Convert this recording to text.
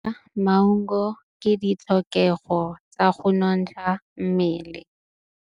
Go ja maungo ke ditlhokegô tsa go nontsha mmele.